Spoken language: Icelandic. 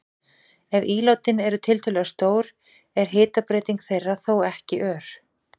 Ef ílátin eru tiltölulega stór er hitabreyting þeirra þó ekki ör.